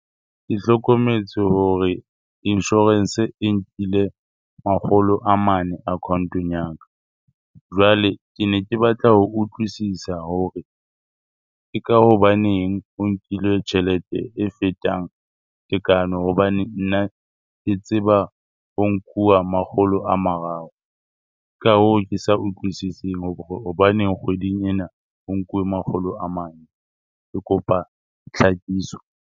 Ke hlokometse hore insurance-e e nkile makgolo a mane account-ong ya ka. Jwale, ke ne ke batla ho utlwisisa hore ke ka hobaneng o nkile tjhelete e fetang tekano hobane nna ke tseba ho nkuwa makgolo a mararo? Ka hoo, ke sa utlwisising hobaneng kgweding ena ho nkuwe makgolo a mane. Ke kopa tlhakiso.